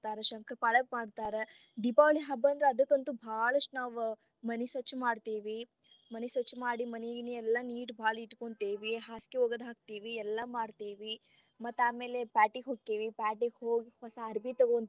ಮಾಡ್ತರ ಶಂಕರಪಾಳೆ ಮಾಡ್ತರ ದೀಪಾವಳಿ ಹಬ್ಬ ಅಂದ್ರ ಅದಕಂತು ನಾವ್ ಬಾಳಷ್ಟ ಮನಿ ಸ್ವಚ್ಛ ಮಾಡ್ತೀವಿ ಮನಿ ಸ್ವಚ್ಚ ಮಾಡಿ ಮನಿ ಗಿನಿ ಎಲ್ಲ neat ಬಾಳ ಇಟ್ಕೊಂತಿವಿ ಹಾಸಗಿ ಒಗದ ಹಾಕ್ತೇವಿ ಎಲ್ಲ ಮಾಡತೇವಿ ಮತ್ತ ಆಮೇಲೆ ಪ್ಯಾಟಿಗ್ ಹೊಕ್ಕೇವಿ, ಪ್ಯಾಟಿಗ್ ಹೋಗಿ ಹೊಸಾ ಅರಬಿ ತೊಗೊಂತೇವಿ.